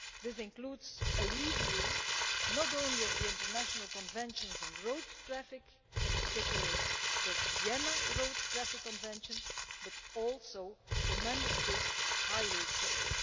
This includes a review not only of the international conventions on road traffic, in particular the Vienna Road Traffic Convention, but also the Member States' highway codes.